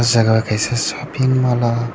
jaga o kaisa shoping mall o.